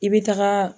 I bɛ taga